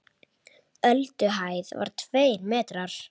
Ölduhæð var tveir metrar.